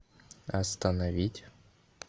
остановить